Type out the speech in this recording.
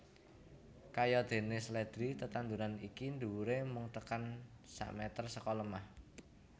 Kayadéné sledri tetanduran iki dhuwuré mung tekan sameter seka lemah